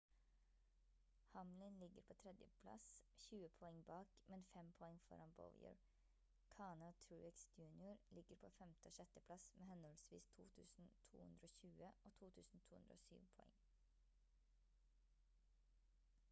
hamlin ligger på 3. plass 20 poeng bak men 5 poeng foran bowyer kahne og truex jr ligger på 5. og 6. plass med henholdsvis 2220 og 2207 poeng